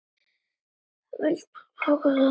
Vilt þú taka þátt?